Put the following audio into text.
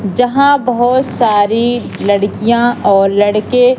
जहाँ बहोत सारी लड़कियाँ और लड़के--